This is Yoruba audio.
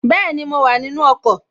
Bẹ́ẹ̀ni, mo wà nínu ọkọ̀